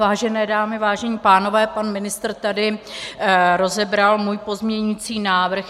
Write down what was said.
Vážené dámy, vážení pánové, pan ministr tady rozebral můj pozměňující návrh.